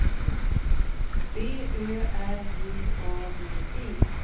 B Ö R J A D E